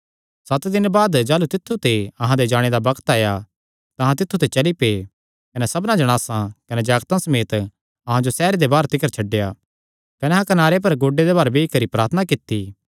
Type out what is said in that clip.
सत दिन बाद जाह़लू तित्थु ते अहां दे जाणे दा बग्त आया तां अहां तित्थु ते चली पै कने सबना जणासा कने जागतां समेत अहां जो सैहरे दे बाहर तिकर छड्डेया कने अहां कनारे पर गोड्डे दे भार बेई करी प्रार्थना कित्ती